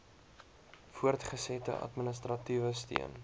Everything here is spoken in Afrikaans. voortgesette administratiewe steun